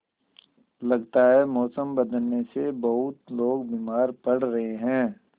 लगता है मौसम बदलने से बहुत लोग बीमार पड़ रहे हैं